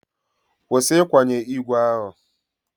Kwụsị ịkwanye igwe ahụ!